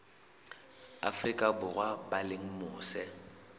afrika borwa ba leng mose